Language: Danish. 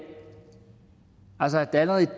altså at der allerede